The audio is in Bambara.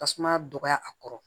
Tasuma dɔgɔya a kɔrɔ